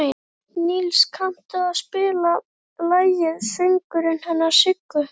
Nils, kanntu að spila lagið „Söngurinn hennar Siggu“?